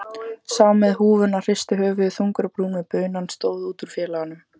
Sá með húfuna hristi höfuðið þungur á brún meðan bunan stóð út úr félaganum.